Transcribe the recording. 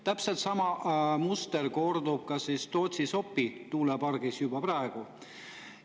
Täpselt sama muster kordub Tootsi-Sopi tuulepargi juures juba praegu.